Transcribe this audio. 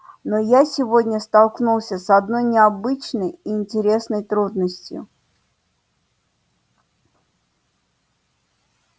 но я сегодня столкнулся с одной необычной и интересной трудностью